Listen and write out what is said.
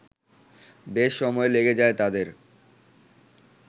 বেশ সময় লেগে যায় তাদের